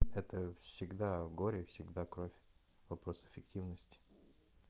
это всегда горе и всегда кровь вопрос эффективности